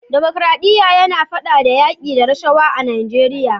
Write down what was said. demokradiya yina fada da yaki da rashawa a najeriya